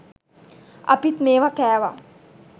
අපිත් මේවා කෑවා